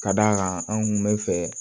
Ka d'a kan anw kun bɛ fɛ